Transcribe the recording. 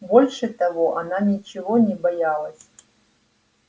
больше того она ничего не боялась